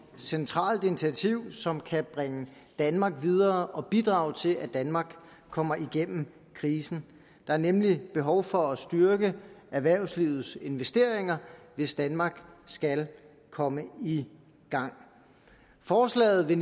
centralt initiativ som kan bringe danmark videre og bidrage til at danmark kommer igennem krisen der er nemlig behov for at styrke erhvervslivets investeringer hvis danmark skal komme i gang forslaget vil